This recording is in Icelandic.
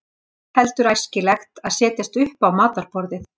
ekki er heldur æskilegt að setjast upp á matarborðið